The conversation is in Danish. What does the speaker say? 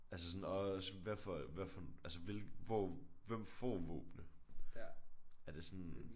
Altså sådan også hvad for hvad for altså hvilken hvor hvem får våbenene er det sådan